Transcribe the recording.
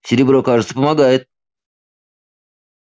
серебро кажется помогает